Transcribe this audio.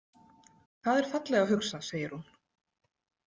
Það er fallega hugsað, segir hún.